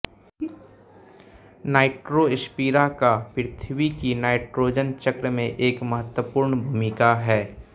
Nitrospira का पृथ्वी की नाइट्रोजन चक्र में एक महत्वपूर्ण भूमिका है